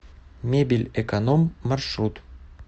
мебельэконом маршрут